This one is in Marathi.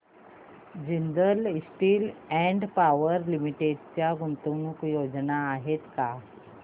Jindal Steel and Power Limited च्या गुंतवणूक योजना आहेत का